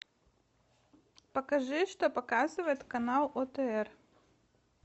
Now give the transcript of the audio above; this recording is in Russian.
покажи что показывает канал отр